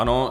Ano.